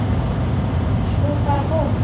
Svo bara búmm.